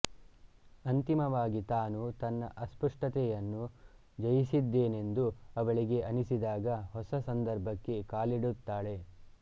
ಅಂತಿಮವಾಗಿ ತಾನು ತನ್ನ ಅಸ್ಪಷ್ಟತೆಯನ್ನು ಜಯಿಸಿದ್ದೇನೆಂದು ಅವಳಿಗೆ ಅನಿಸಿದಾಗ ಹೊಸ ಸಂದರ್ಭಕ್ಕೆ ಕಾಲಿಡುತ್ತಾಳೆ